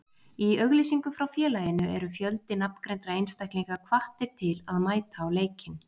Í auglýsingu frá félaginu eru fjöldi nafngreindra einstaklinga hvattir til að mæta á leikinn.